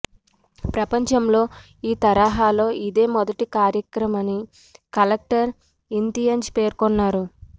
ప్రపంచంలో ఈ తరహాలో ఇదే మొదటి కార్యక్రమని కలెక్టర్ ఇంతియాజ్ పేర్కొన్నారు